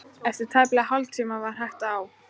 Eftir tæpan hálftíma var hægt á.